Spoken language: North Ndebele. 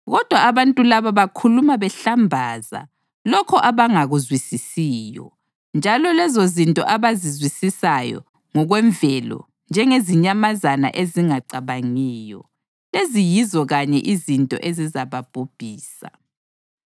Kodwa abantu laba bakhuluma behlambaza lokho abangakuzwisisiyo; njalo lezozinto abazizwisisayo ngokwemvelo njengezinyamazana ezingacabangiyo, lezi yizo kanye izinto ezizababhubhisa.